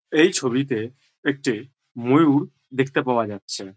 এই ছবিতে একটি ময়ূর দেখতে পাওয়া যাচ্ছে।